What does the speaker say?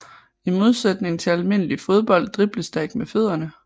I modsætning til almindelig fodbold dribles der ikke med fødderne